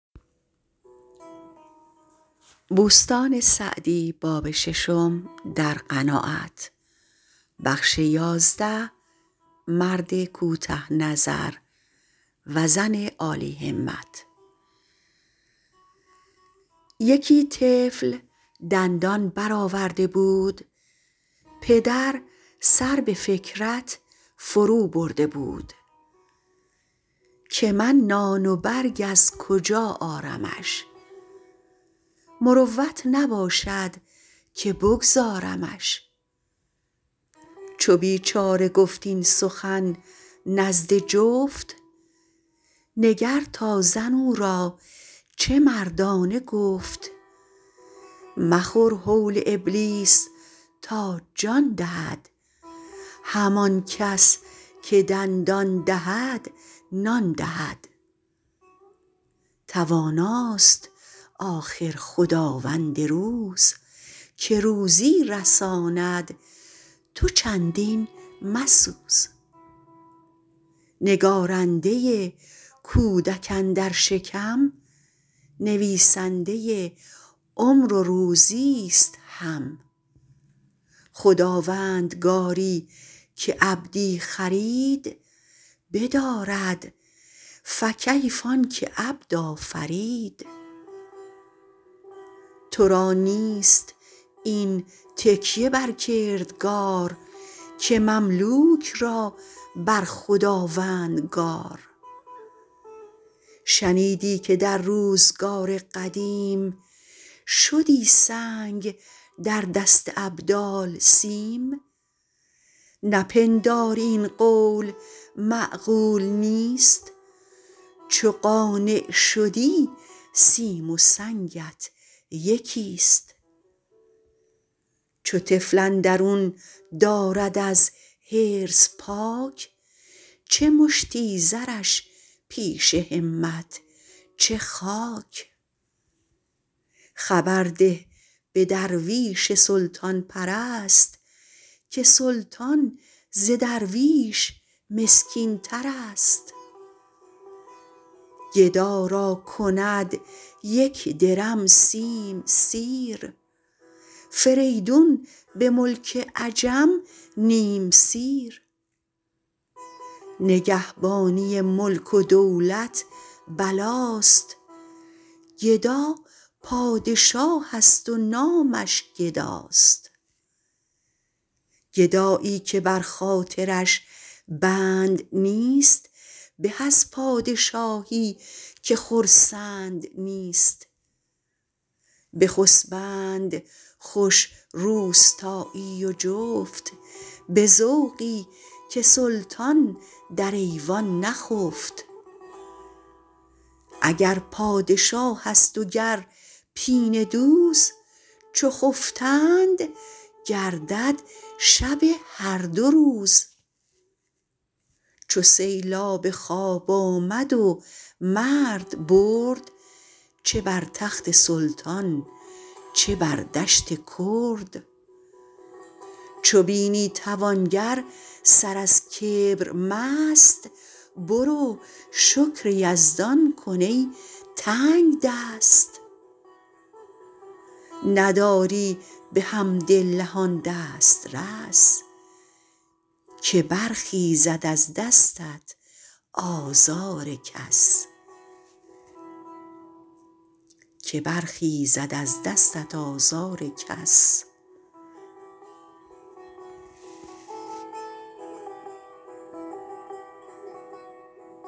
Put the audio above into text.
یکی طفل دندان برآورده بود پدر سر به فکرت فرو برده بود که من نان و برگ از کجا آرمش مروت نباشد که بگذارمش چو بیچاره گفت این سخن نزد جفت نگر تا زن او را چه مردانه گفت مخور هول ابلیس تا جان دهد همان کس که دندان دهد نان دهد تواناست آخر خداوند روز که روزی رساند تو چندین مسوز نگارنده کودک اندر شکم نویسنده عمر و روزی است هم خداوندگاری که عبدی خرید بدارد فکیف آن که عبد آفرید تو را نیست این تکیه بر کردگار که مملوک را بر خداوندگار شنیدی که در روزگار قدیم شدی سنگ در دست ابدال سیم نپنداری این قول معقول نیست چو قانع شدی سیم و سنگت یکی است چو طفل اندرون دارد از حرص پاک چه مشتی زرش پیش همت چه خاک خبر ده به درویش سلطان پرست که سلطان ز درویش مسکین ترست گدا را کند یک درم سیم سیر فریدون به ملک عجم نیم سیر نگهبانی ملک و دولت بلاست گدا پادشاه است و نامش گداست گدایی که بر خاطرش بند نیست به از پادشاهی که خرسند نیست بخسبند خوش روستایی و جفت به ذوقی که سلطان در ایوان نخفت اگر پادشاه است و گر پینه دوز چو خفتند گردد شب هر دو روز چو سیلاب خواب آمد و مرد برد چه بر تخت سلطان چه بر دشت کرد چو بینی توانگر سر از کبر مست برو شکر یزدان کن ای تنگدست نداری بحمدالله آن دسترس که برخیزد از دستت آزار کس